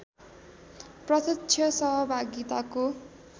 प्रत्यक्ष सहभागिताको